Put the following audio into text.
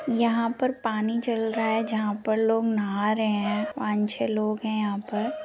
यहां पे पानी चल रहा हैं जहां पे लोग नहा रहे है पान छै लोग हैं यहां पे |